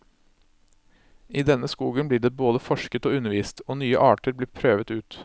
I denne skogen blir det både forsket og undervist, og nye arter blir prøvet ut.